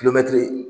Kulonkɛ